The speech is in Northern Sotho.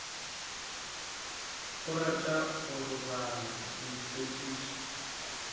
o rata go roba ditshepišo